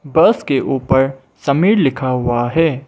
बस के ऊपर समीर लिखा हुआ है।